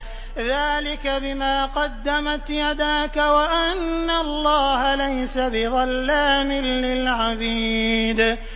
ذَٰلِكَ بِمَا قَدَّمَتْ يَدَاكَ وَأَنَّ اللَّهَ لَيْسَ بِظَلَّامٍ لِّلْعَبِيدِ